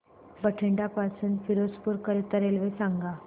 बठिंडा पासून फिरोजपुर करीता रेल्वे सांगा